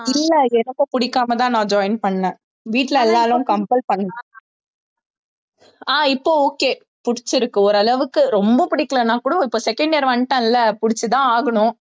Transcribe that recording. இல்லை எனக்கும் பிடிக்காமதான் நான் join பண்ணேன் வீட்டுல எல்லாரும் compel பண்ணாங்க ஆஹ் இப்ப okay பிடிச்சிருக்கு ஓரளவுக்கு ரொம்ப பிடிக்கலைன்னா கூட இப்ப second year வந்துட்டேன்ல புடிச்சுதான் ஆகணும்